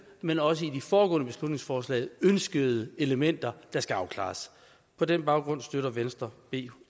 men også de i de foregående beslutningsforslag ønskede elementer der skal afklares på den baggrund støtter venstre b